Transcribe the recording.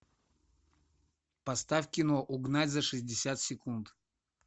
поставь кино угнать за шестьдесят секунд